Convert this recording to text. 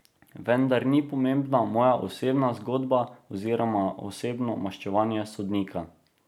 Vendar ni pomembna moja osebna zgodba oziroma osebno maščevanje sodnika.